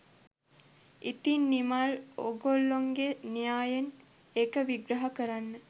ඉතිං නිමල් ඕගොල්ලන්ගේ න්‍යායෙන් ඒක විග්‍රහ කරන්න